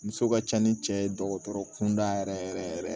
Muso ka ca ni cɛ ye dɔgɔtɔrɔ kun da yɛrɛ yɛrɛ yɛrɛ yɛrɛ